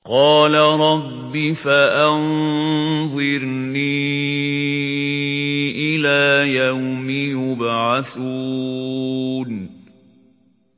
قَالَ رَبِّ فَأَنظِرْنِي إِلَىٰ يَوْمِ يُبْعَثُونَ